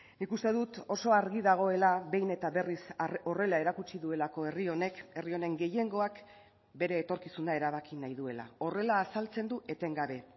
nik uste dut oso argi dagoela behin eta berriz horrela erakutsi duelako herri honek herri honen gehiengoak bere etorkizuna erabaki nahi duela horrela azaltzen du etengabe